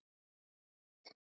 Skipt og deilt